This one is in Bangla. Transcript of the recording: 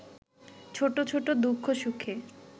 ছোটছোট দুঃখ সুখে